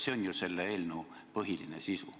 See on ju selle eelnõu põhiline sisu.